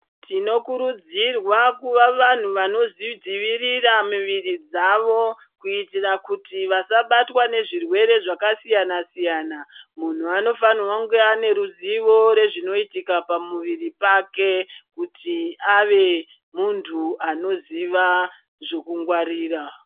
Tinokurudzirwa kuva vanhu vanozvidziwirira miviri dzawo kuitira kuti vasabatwe nezvirwere zvakasiyana-siyana, munhu anofanha kunge aime ruzivo rezvinoitika pamuviri pake kuti awe muntu anoziva zvekungwarira.